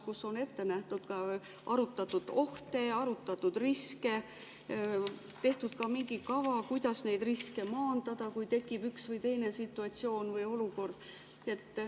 Kas on ette nähtud ja arvestatud ohte, arutatud riske, tehtud mingi kava, kuidas neid riske maandada, kui tekib üks või teine situatsioon?